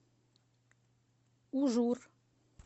ужур